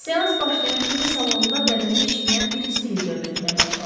Seans başlayan kimi salonda bədənə işləyən bir istilik dövr etməyə başladı.